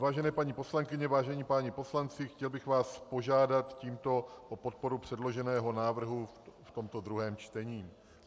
Vážené paní poslankyně, vážení páni poslanci, chtěl bych vás požádat tímto o podporu předloženého návrhu v tomto druhém čtení.